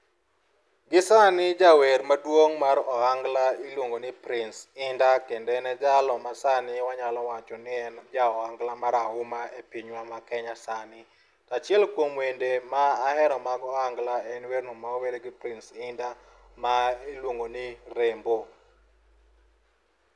Gi sani, jawer maduong' mar ohangla iluongo ni Prince Indah, kendo en e jalo ma sani wanyalo wacho ni en ja ohangla marahuma e pinywa ma Kenya sani. To achiel kuom wende ma ahero mag ohangla en werno ma owere gi Prince Indah ma iluongo ni 'Rembo'.